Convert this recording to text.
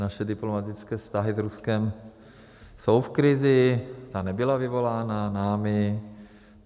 Naše diplomatické vztahy s Ruskem jsou v krizi, ta nebyla vyvolána námi.